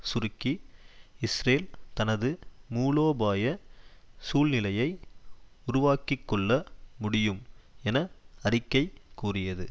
சுருக்கி இஸ்ரேல் தனது மூலோபாய சூழ்நிலையை உருவாக்கிக்கொள்ள முடியும் என அறிக்கை கூறியது